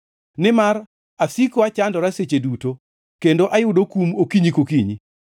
Nimar asiko achandora seche duto, kendo ayudo kum okinyi kokinyi.